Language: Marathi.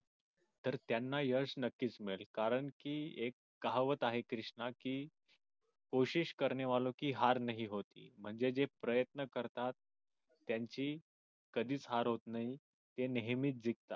तर त्यांना यश नक्कीच मिळेल कारण की एक कहावत आहे कृष्णा की म्हणजे जे प्रयत्न करतात त्यांची कधीच हार होत नाही ते नेहमीच